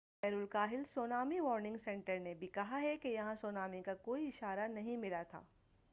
بحر الکاہل tsunami warning centre نے بھی کہا ہے کہ یہاں سونامی کا کوئی اشارہ نہیں ملا تھا